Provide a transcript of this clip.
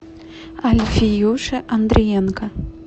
альфиюши андриенко